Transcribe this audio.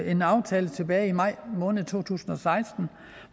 en aftale tilbage i maj måned to tusind og seksten